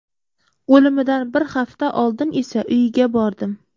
O‘limidan bir hafta oldin esa uyiga bordim.